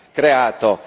kreálta.